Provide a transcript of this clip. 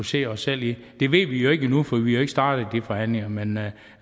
se os selv i det ved vi jo ikke endnu for vi har ikke startet de forhandlinger men jeg